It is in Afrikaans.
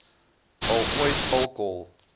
al ooit alkohol